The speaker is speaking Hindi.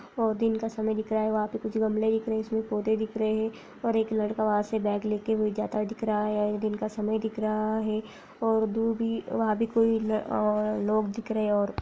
और दिन का समय दिख रहा है वहां पे कुछ गमलें दिख रहे हैं जिसमें पौधे दिख रहें हैं और एक लड़का वहां से बैग लेके हुए जाता हुआ दिख रहा है दिन का समय दिख रहा है और दूर भी वहां भी कोई अ लोग दिख रहे हैं और --